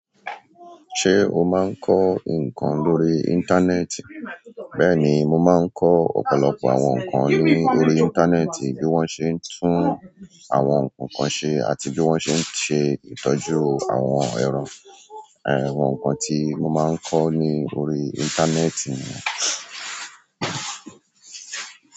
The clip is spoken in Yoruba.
Ṣé o máa ń kọ́ nǹkan lórí íńtánẹ́ẹ̀tì? Bẹ́ẹ̀ni, mo máa ń kọ ọ̀pọ̀lọpọ̀ àwọn nǹkan lórí íńtánẹ́ẹ̀tì bí wọ́n ṣe ń tún àwọn nǹkan ṣe àti bí wọ́n ṣe ń ṣe ìtọ́jú àwọn ẹran. Àwọn nǹkan tí mo máa ń kọ ni órí íńtánẹ́ẹ̀tì ni.